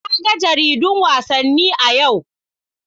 Na ga jaridun wasanni a yau.